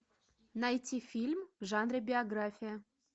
найти фильм в жанре биография